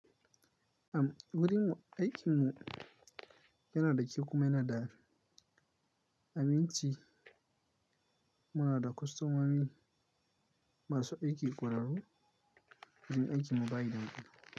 Am wurin aikinmu yana da kyau kuma yana da aminci. Muna da kwastomomi masu aiki ƙwararru wurin aikin mu ba idan kuma.